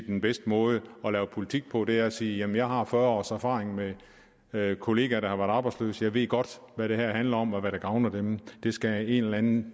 den bedste måde at lave politik på nemlig ved at sige jamen jeg har fyrre års erfaring med kollegaer der har været arbejdsløse jeg ved godt hvad det her handler om og hvad der gavner dem det skal en eller anden